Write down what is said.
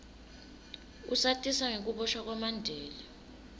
usatisa ngekuboshwa kwamandela